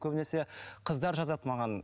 көбінесе қыздар жазады маған